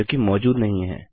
जो कि मौजूद नहीं है